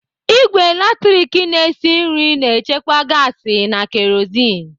Ìgwè latrik na-esi nri na-echekwa gaasi na kerozin.